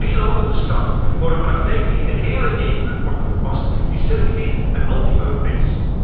En dat u drie landen bestraft voor een praktijk die in de hele EU wordt toegepast, is selectief en anti Europees.